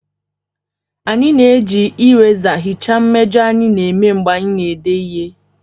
Anyị na-eji erasers hichaa mmejọ anyị na-eme mgbe anyị na-ede ihe